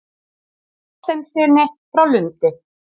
Þorsteinssyni frá Lundi.